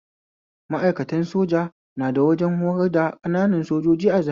Ma'aikatan soja na da wajen horar da ƙananan sojoji a Zariya